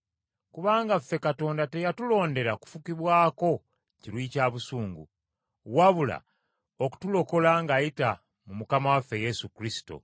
Kubanga ffe Katonda teyatulondera kufukibwako kiruyi kya busungu, wabula okutulokola ng’ayita mu Mukama waffe Yesu Kristo,